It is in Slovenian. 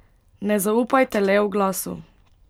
Ne zaupajte le oglasu.